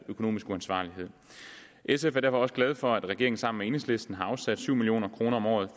økonomisk uansvarlighed sf er derfor også glad for at regeringen sammen med enhedslisten har afsat syv million kroner om året